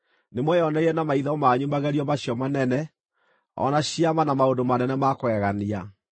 Nĩmweyoneire na maitho manyu magerio macio manene, o na ciama na maũndũ manene ma kũgegania.